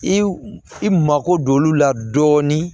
I i mako don olu la dɔɔnin